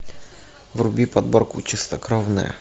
вруби подборку чистокровная